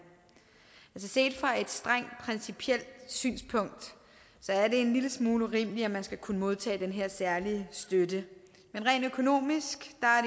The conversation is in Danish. set fra et strengt principielt synspunkt er det en lille smule urimeligt at man skal kunne modtage den her særlige støtte men rent økonomisk